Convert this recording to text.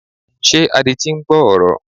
Ṣé adití ń gbọ́ ọ̀rọ̀?